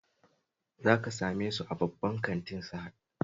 Za ka same su a babban kantin Sahad